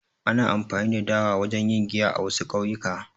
Ana amfani da dawa wajen yin giya a, wasu ƙauyuka